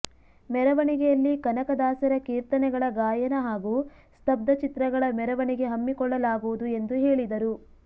ಮೆರವಣಿಯಲ್ಲಿ ಕನಕ ದಾಸರ ಕೀರ್ತನೆಗಳ ಗಾಯನ ಹಾಗೂ ಸ್ತಬ್ಧ ಚಿತ್ರಗಳ ಮೆರವಣಿಗೆ ಹಮ್ಮಿಕೊಳ್ಳಲಾಗುವುದು ಎಂದು ಹೇಳಿದರು